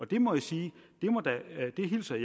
det må jeg sige at jeg hilser